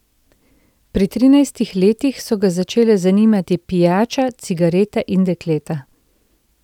Pri trinajstih letih so ga začele zanimati pijača, cigarete in dekleta.